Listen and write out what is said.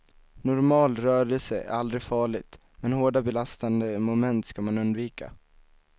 Normal rörelse är aldrig farligt, men hårda belastande moment ska man undvika.